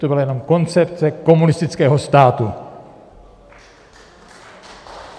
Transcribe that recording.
To byla jenom koncepce komunistického státu.